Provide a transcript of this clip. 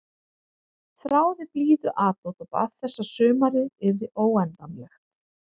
Þráði blíðuatlot og bað þess að sumarið yrði óendanlegt.